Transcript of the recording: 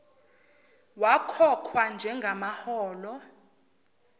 wakhokhwa njenga maholo